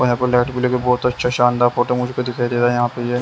यहाँ पर लाइट बहुत अच्छा शानदार फोटो मुझे को दिखाई दे रहा है यहाँ पे।